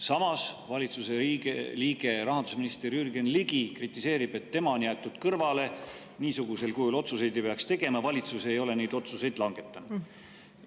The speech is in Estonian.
Samas, valitsuse liige, rahandusminister Jürgen Ligi kritiseerib, et tema on jäetud kõrvale, niisugusel kujul otsuseid ei peaks tegema, valitsus ei ole neid otsuseid langetanud.